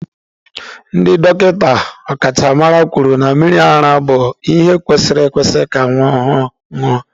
Ndị dọkịta ọkachamara kwuru na mmiri ara bụ ihe kwesịrị ekwesị ka nwa ọhụrụ ṅụọ.